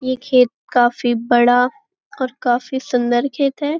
यह खेत काफ़ी बड़ा और काफ़ी सुंदर खेत है।